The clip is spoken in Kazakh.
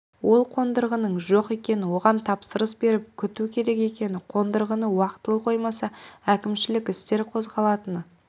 ол қондырғының жоқ екені оған тапсырыс беріп күту керек екені қондырғыны уақытылы қоймаса әкімшілік істер қозғалатыны